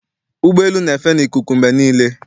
Ụgbọelu na-efe n'ikuku mgbe niile.